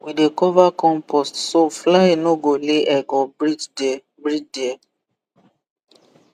we dey cover compost so fly no go lay egg or breed there breed there